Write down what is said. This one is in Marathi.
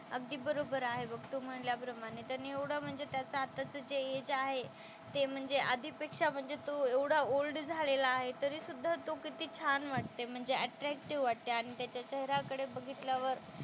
अगदी बरोबर आहे बघ तू म्हणल्याप्रमाणे. त्याने एवढा म्हणजे त्याचं आताचं जे एज आहे ते म्हणजे आधीपेक्षा म्हणजे तो एवढा ओल्ड झालेला आहे तरीसुद्धा तो किती छान वाटते म्हणजे अट्रॅक्टीव्ह वाटते आणि त्याच्या चेहऱ्याकडे बघितल्यावर,